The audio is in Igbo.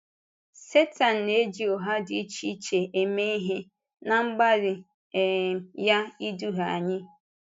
Sẹtán na-ejì ụgha dị iche iche eme ihe ná mgbalị um ya ịdùhie anyị.